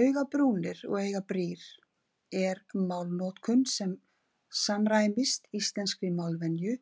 Augabrúnir og augabrýr er málnotkun sem samræmist íslenskri málvenju